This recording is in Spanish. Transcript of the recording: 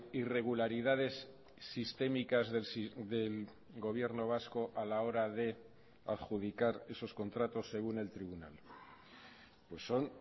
irregularidades sistémicas del gobierno vasco a la hora de adjudicar esos contratos según el tribunal pues son